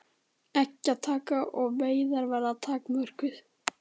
Eggjataka og veiðar verði takmörkuð